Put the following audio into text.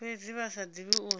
fhedzi vha sa divhi uri